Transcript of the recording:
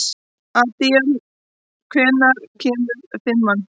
Adíel, hvenær kemur fimman?